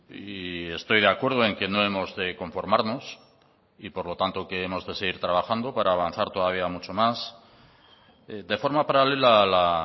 y estoy de acuerdo en que no hemos de conformarnos y por lo tanto que hemos de seguir trabajando para avanzar todavía mucho más de forma paralela a la